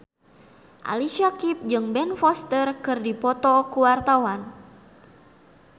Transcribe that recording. Ali Syakieb jeung Ben Foster keur dipoto ku wartawan